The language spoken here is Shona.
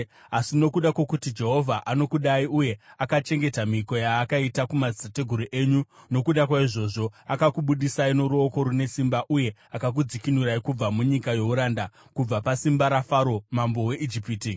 Asi nokuda kwokuti Jehovha anokudai uye akachengeta mhiko yaakaita kumadzitateguru enyu nokuda kwaizvozvo akakubudisai noruoko rune simba uye akakudzikinurai kubva munyika youranda, kubva pasimba raFaro mambo weIjipiti.